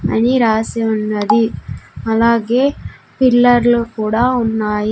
అని రాసి ఉన్నది అలాగే పిల్లర్లు కూడా ఉన్నాయి.